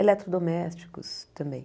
Eletrodomésticos também.